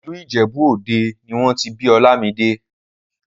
ìlú ìjẹ̀bú òde nì wọ́n ti bí Olamide